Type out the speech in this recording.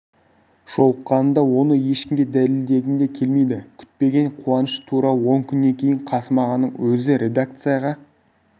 жолыққанымда оны ешкімге дәлелдегім де келмейді күтпеген қуаныш тура он күннен кейін қасым ағаның өзі редакцияға